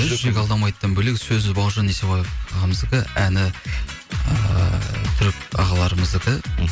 жүрек алдамайдыдан бөлек сөзі бауыржан есебай ағамыздікі әні ыыы түрік ағаларымыздікі мхм